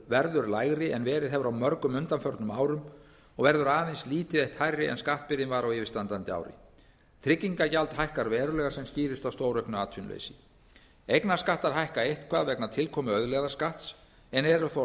verður lægri en verið hefur á mörgum undanförnum árum og verður aðeins lítið eitt hærri en skattbyrðin var á yfirstandandi ári trygginga gjald hækkar verulega sem skýrist af stórauknu atvinnuleysi eignarskattar hækka eitthvað vegna tilkomu auðlegðarskatts en eru þó